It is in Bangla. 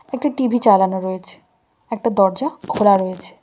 একটি টি_ভি চালানো রয়েছে একটা দরজা খোলা রয়েছে।